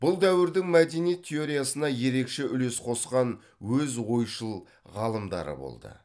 бұл дәуірдің мәдениет теориясына ерекше үлес қосқан өз ойшыл ғалымдары болды